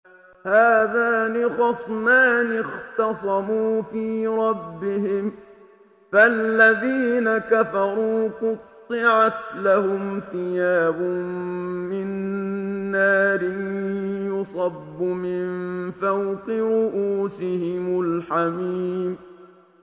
۞ هَٰذَانِ خَصْمَانِ اخْتَصَمُوا فِي رَبِّهِمْ ۖ فَالَّذِينَ كَفَرُوا قُطِّعَتْ لَهُمْ ثِيَابٌ مِّن نَّارٍ يُصَبُّ مِن فَوْقِ رُءُوسِهِمُ الْحَمِيمُ